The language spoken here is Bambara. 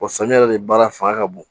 samiya yɛrɛ de baara fanga ka bon